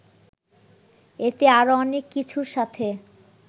এতে আরও অনেক কিছুর সাথে